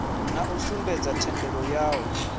na u sumbedza thendelo yayo